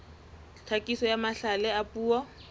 tlhakiso ya mahlale a puo